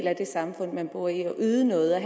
af det samfund man bor i og yde noget og